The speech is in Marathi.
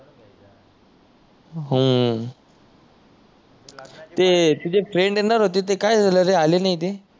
हम्म ते तुझी फ्रेंड येणार होती ते काय झाल रे आली नाही ती